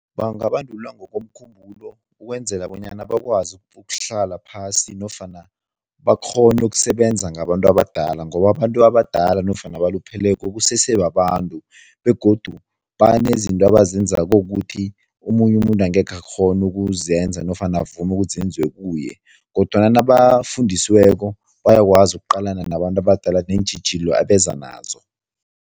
Bangabandulwa ngokomkhumbulo ukwenzela bonyana bakwazi ukuhlala phasi nofana bakghone ukusebenza ngabantu abadala ngoba abantu abadala nofana abalupheleko kusesebabantu begodu banezinto abazenzako ukuthi omunye umuntu angekhe wakghona ukuzenza nofana avume ukuthi zenziwe kuye kodwana nabafundisweko bayakwazi ukuqalana nabantu abadala neentjhijilo abeza nazo.